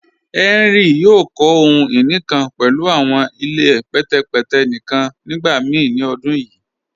Henry yòò kọ̀ ohun-iní kan pẹ̀lú awọn ilẹ̀ pẹtẹpẹtẹ̀ níkan nígbàmíì ni ọ̀dún yíì.